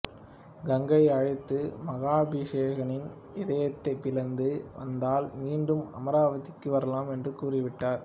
கங்கையை அழைத்து மகாபிஷனின் இதயத்தைப் பிளந்து வந்தால் மீண்டும் அமராவதிக்கு வரலாம் என்று கூறிவிட்டார்